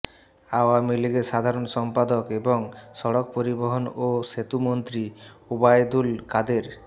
আওয়ামী লীগের সাধারণ সম্পাদক এবং সড়ক পরিবহন ও সেতুমন্ত্রী ওবায়দুল কাদের